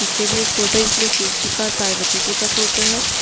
पीछे भी एक फोटो इसमें शिवजी का और पार्वती जी का फोटो है।